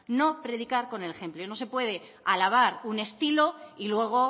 no se puede alabar un estilo y luego